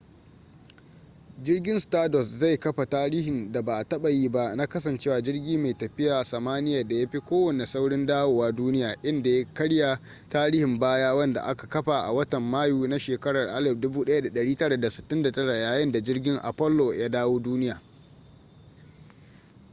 jirgin stardust zai kafa tarihin da ba a taba yi ba na kasancewa jirgi mai tafiya samaniya da ya fi kowanne saurin dawowa duniya inda ya karya tarihin baya wanda aka kafa a watan mayu na shekarar 1969 yayin da jirgin apollo ya dawo duniya